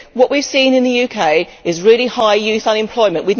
What we have seen in the UK is really high youth unemployment.